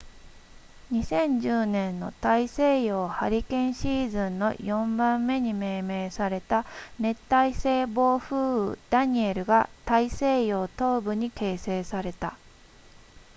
2010年の大西洋ハリケーンシーズンの4番目に命名された熱帯性暴風雨ダニエルが大西洋東部に形成された